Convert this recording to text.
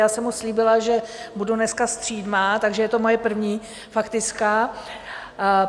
Já jsem mu slíbila, že budu dneska střídmá, takže je to moje první faktická.